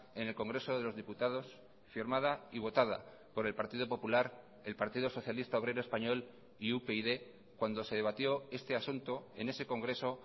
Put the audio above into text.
en el congreso de los diputados firmada y votada por el partido popular el partido socialista obrero español y upyd cuando se debatió este asunto en ese congreso